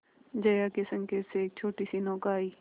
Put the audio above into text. जया के संकेत से एक छोटीसी नौका आई